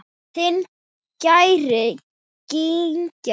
Þinn Geir Gígja.